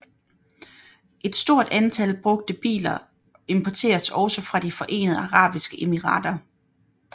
Et stort antal brugte biler importeres også fra de Forenede Arabiske Emirater